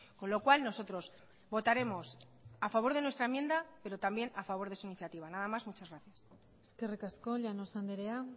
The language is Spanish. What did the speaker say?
con lo cual nosotros votaremos a favor de nuestra enmienda pero también a favor de su iniciativa nada más muchas gracias eskerrik asko llanos andrea